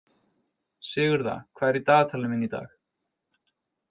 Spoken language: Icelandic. Sigurða, hvað er í dagatalinu mínu í dag?